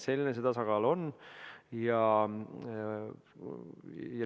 Selline see tasakaal on.